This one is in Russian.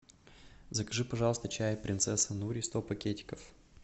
закажи пожалуйста чай принцесса нури сто пакетиков